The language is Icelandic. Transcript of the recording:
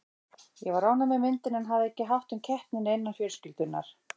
Ég var ánægð með myndina en hafði ekki hátt um keppnina innan fjölskyldunnar.